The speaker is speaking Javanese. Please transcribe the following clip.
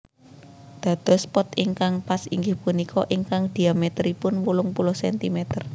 Dados pot ingkang pas inggih punika ingkang dhiamèteripun wolung puluh cm